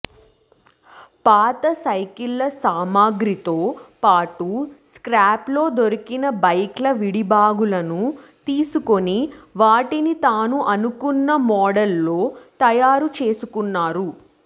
పాత సైకిల్ సామగ్రితో పాటు స్క్రాప్లో దొరికిన బైక్ల విడిభాగాలను తీసుకుని వాటిని తాను అనుకున్న మోడల్లో తయారు చేసుకున్నారు